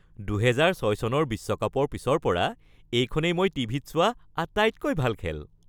২০০৬ চনৰ বিশ্বকাপৰ পিছৰ পৰা এইখনেই মই টিভিত চোৱা আটাইতকৈ ভাল খেল।